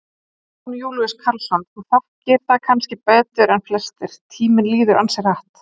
Jón Júlíus Karlsson: Þú þekkir það kannski betur en flestir, tíminn líður ansi hratt?